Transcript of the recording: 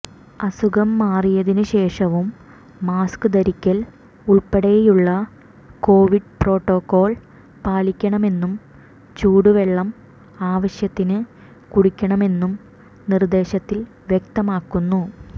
അസുഖം മാറിയതിന് ശേഷവും മാസ്ക് ധരിക്കൽ ഉൾപ്പെടെയുളള കൊവിഡ് പ്രോട്ടോക്കോൾ പാലിക്കണമെന്നും ചൂടുവെളളം ആവശ്യത്തിന് കുടിക്കണമെന്നും നിർദേശത്തിൽ വ്യക്തമാക്കുന്നു